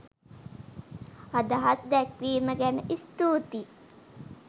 අදහස් දැක්වීම ගැන ස්තුතියි